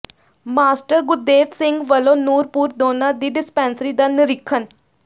master Gurdev Singh ਵਲੋਂ ਨੂਰਪੁਰ ਦੋਨਾ ਦੀ dispensary ਦਾ ਨਿਰੀਖਣ